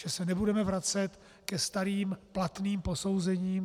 Že se nebudeme vracet ke starým, platným posouzením.